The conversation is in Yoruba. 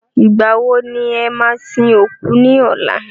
Ìgbà wo ni e máa sin òkú ní ọ̀la?